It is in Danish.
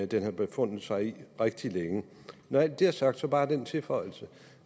den har befundet sig i rigtig længe når alt det er sagt så bare den tilføjelse